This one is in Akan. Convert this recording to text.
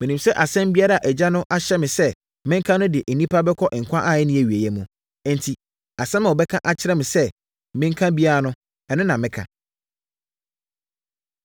Menim sɛ asɛm biara a Agya no ahyɛ me sɛ menka no de nnipa kɔ nkwa a ɛnni awieeɛ mu; enti asɛm a ɔbɛka akyerɛ me sɛ menka biara no, ɛno na meka!”